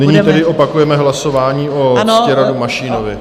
Nyní tedy opakujeme hlasování o Ctiradu Mašínovi.